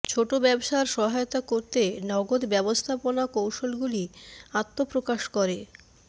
ছোট ব্যবসার সহায়তা করতে নগদ ব্যবস্থাপনা কৌশলগুলি আত্মপ্রকাশ করে